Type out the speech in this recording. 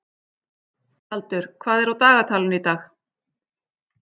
Tjaldur, hvað er á dagatalinu í dag?